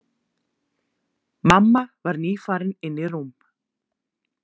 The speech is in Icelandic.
Mamma var nýfarin inn í rúm.